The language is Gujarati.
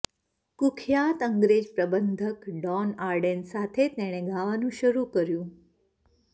કુખ્યાત અંગ્રેજ પ્રબંધક ડોન આર્ડેન સાથે તેણે ગાવાનું શરૂ કર્યું